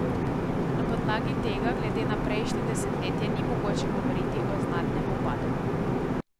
Na podlagi tega glede na prejšnje desetletje ni mogoče govoriti o znatnem upadu.